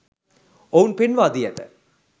ඔවුන් පෙන්වා දී ඇත.